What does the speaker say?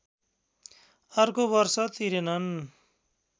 अर्को वर्ष तिरेनन्